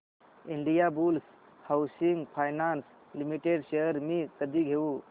Indiabulls housing finance limited shares मी कधी घेऊ